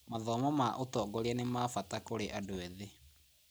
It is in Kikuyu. Mathomo ma ũtongoria nĩ ma bata kũrĩ andũ ethĩ.